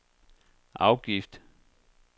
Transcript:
afgift